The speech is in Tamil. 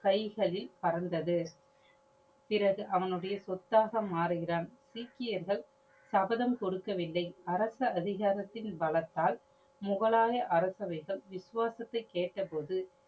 கைகளில் பறந்தது. பிறகு அவனோடய சொத்தாக மாறுகிறான். சீக்கியர்கள் சபதம் கொடுக்கவில்லை. அரசு அதிகாரத்தின் பலத்தால் முகலாய அரசைவைகள் விசுவாசத்தை கேட்ட போது